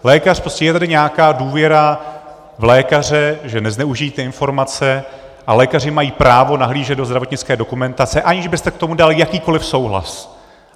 Lékař prostě, je tady nějaká důvěra v lékaře, že nezneužijí ty informace, a lékaři mají právo nahlížet do zdravotnické dokumentace, aniž byste k tomu dal jakýkoliv souhlas.